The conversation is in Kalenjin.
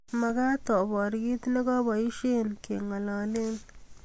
Magat apar kiit negoboishen kengololen